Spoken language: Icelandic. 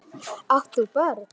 Átt þú börn?